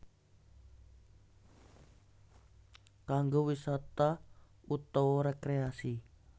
Kanggo wisata utawa rekreasi